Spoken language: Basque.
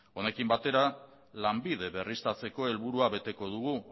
honekin batera lanbide berriztatzeko helburua beteko dugu